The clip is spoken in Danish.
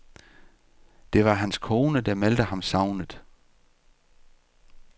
Det var hans kone, der meldte ham savnet.